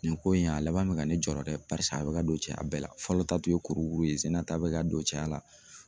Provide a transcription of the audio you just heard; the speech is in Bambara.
Nin ko in a laban bi ka ne jɔrɛ dɛ paseke a bi ka don cɛya bɛɛ la, fɔlɔ ta tun ye kurukuru ye sɛ in na ta bɛ ka don cɛya la.